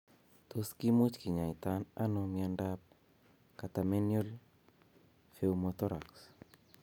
Tos kimuch kinyaita nao miondap catamenial pneumothorax.